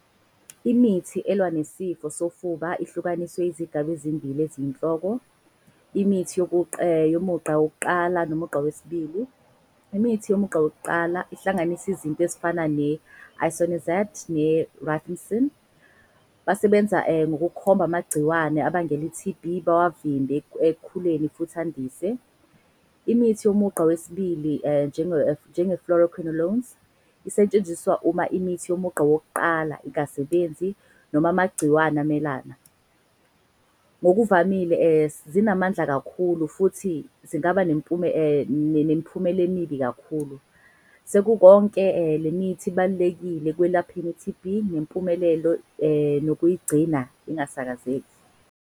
Imithi elwa nesifo sofuba ihlukaniswe izigaba ezimbili eziyinhloko, imithi yomugqa wokuqala nomugqa wesibili. Imithi yomugqa wokuqala ihlanganise izinto ezifana ne-isoniazid ne-rifamycin. Basebenza ngokukhomba amagciwane abangela i-T_B bavimbe ekukhuleni futhi andise. Imithi yomugqa wesibili njenge-fluoroquinolones. Isetshenziswa uma imithi yomugqa wokuqala ingasebenzi noma amagciwane amelana. Ngokuvamile zinamandla kakhulu futhi zingaba emibi kakhulu. Sekukonke le mithi ibalulekile ekwelapheni i-T_B nempumelelo nokuyigcina ingasakazeki.